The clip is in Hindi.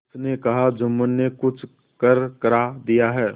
उसने कहाजुम्मन ने कुछ करकरा दिया है